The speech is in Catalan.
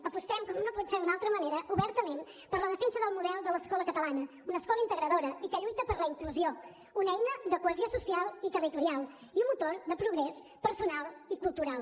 apostem com no pot ser d’una altra manera obertament per la defensa del model de l’escola catalana una escola integradora i que lluita per la inclusió una eina de cohesió social i territorial i un motor de progrés personal i cultural